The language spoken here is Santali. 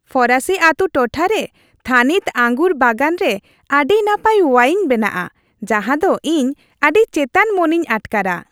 ᱯᱷᱚᱨᱟᱥᱤ ᱟᱛᱩ ᱴᱚᱴᱷᱟᱨᱮ ᱨᱮ ᱛᱷᱟᱹᱱᱤᱛ ᱟᱝᱜᱩᱨ ᱵᱟᱜᱟᱱ ᱨᱮ ᱟᱹᱰᱤ ᱱᱟᱯᱟᱭ ᱳᱣᱟᱭᱤᱱ ᱵᱮᱱᱟᱜᱼᱟ ᱡᱟᱦᱟᱸ ᱫᱚ ᱤᱧ ᱟᱹᱰᱤ ᱪᱮᱛᱟᱱ ᱢᱚᱱᱮᱧ ᱟᱴᱠᱟᱨᱟ ᱾